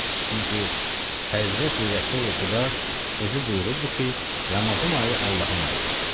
Çünki Həzrəti Rəsulixuda özü buyurubdur ki, Ramazan ayı Allahın ayıdır.